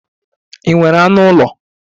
Ị nwere anụ ụlọ?